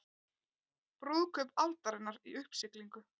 Brúðkaup aldarinnar í uppsiglingu